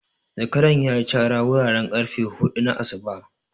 Zakaran ya yi cara wuraren ƙarfe hudu na asuba.